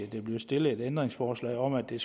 der bliver stillet et ændringsforslag om at det